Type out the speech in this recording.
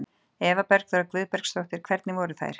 Eva Bergþóra Guðbergsdóttir: Hvernig voru þær?